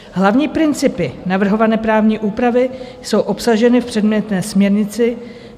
Hlavní principy navrhované právní úpravy jsou obsaženy v předmětné směrnici.